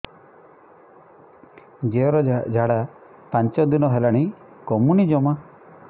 ଝିଅର ଝାଡା ପାଞ୍ଚ ଦିନ ହେଲାଣି କମୁନି ଜମା